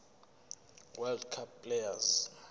world cup players